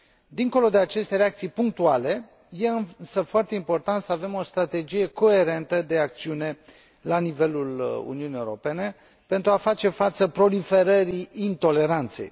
Dincolo de aceste reacții punctuale, este, însă, foarte important să avem o strategie coerentă de acțiune la nivelul Uniunii Europene, pentru a face față proliferării intoleranței.